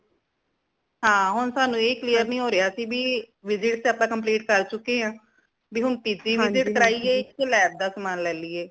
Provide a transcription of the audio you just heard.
ਹਾਂ ਹੁਣ ਸਾਨੂ ਏ clear ਨਈ ਹੋ ਰਿਆ ਸੀ ਭੀ visit ਆਪਾ complete ਕਰ ਚੁਕੇ ਹਾਂ ਭੀ ਹੁਣ ਤੀਜੀ visit ਕਰਾਈਏ ਯਾ lab ਦਾ ਸਮਾਨ ਲੈ ਲਈਏ